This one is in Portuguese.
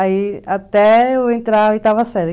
Aí até eu entrar a oitava série.